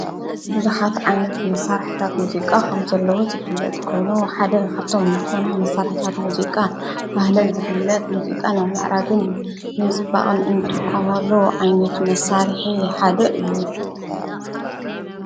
ብዙኃት ዓይነት መሣርሕታት ሙዚቃ ኸም ዘለዉ ዝብለት ኮይኑ ሓደ ኻብቶም ምተዉና መሠርሕታት ሙዚቃ ፍህለ ዝብለት ሙዚቃ ን ልዕራግን ብምስባቕን እንድምሎ ዓይነቱ መሣርሕ ሓደ እዩ።